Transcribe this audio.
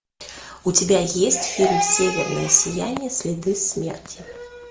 у тебя есть фильм северное сияние следы смерти